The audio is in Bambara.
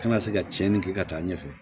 Kana se ka cɛnni kɛ ka taa ɲɛfɛ